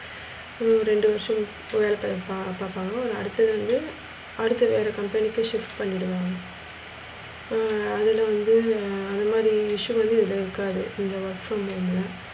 இந்நோ ஒரு ரெண்டு வருஷம் வேலை பாப் பாப்பாங்க ஒரு அடுத்ததுல அடுத்து வேற company க்கு shift பண்ணிடுவாங்க. ஹம் அதுல வந்து அது மாதிரி issues வந்து இதுல இருக்காது இந்த work from home ல,